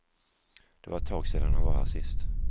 Det var ett tag sedan han var här sist.